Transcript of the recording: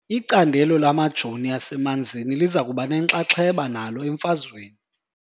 Icandelo lamajoni asemanzini liza kuba nenxaxheba nalo emfazweni .